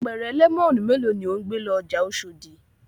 Apẹ̀rẹ̀ lẹ́mọ́nù mélòó ni ò ń gbé lọ ọjà Oṣòdì?